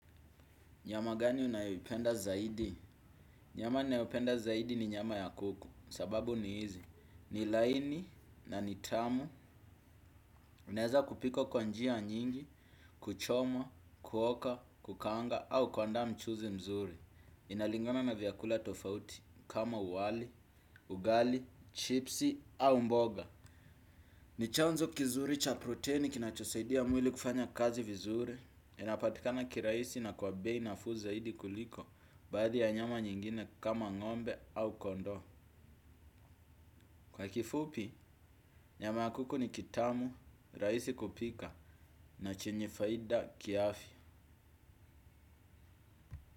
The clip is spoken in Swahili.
Nyama gani unayoipenda zaidi. Nyama ninayopenda zaidi ni nyama ya kuku, sababu ni hizi. Ni laini na ni tamu, unaeza kupika kwa njia nyingi, kuchoma, kuoka, kukaanga au kuandaa mchuzi mzuri. Inalingana na vyakula tofauti kama wali, ugali, chipsi au mboga. Ni chanzo kizuri cha proteni kinachosaidia mwili kufanya kazi vizuri. Inapatikana kirahisi na kwa bei nafuu zaidi kuliko baadhi ya nyama nyingine kama ng'ombe au kondo. Kwa kifupi, nyama kuku ni kitamu, rahisi kupika na chenye faida kiafya.